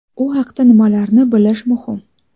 U haqda nimalarni bilish muhim?.